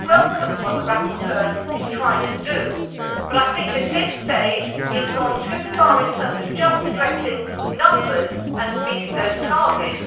I welcome what the rapporteur is trying to do, but I think at this stage it has gone too far in terms of just addressing numbers and meeting those targets.